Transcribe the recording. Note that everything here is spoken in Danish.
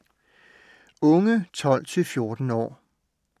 Unge 12-14 år